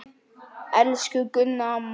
Elsku Gunna amma.